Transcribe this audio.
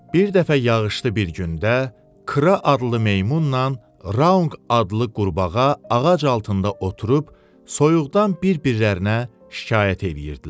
Bir dəfə yağışlı bir gündə Kra adlı meymunnan Raunq adlı qurbağa ağac altında oturub soyuqdan bir-birlərinə şikayət eləyirdilər.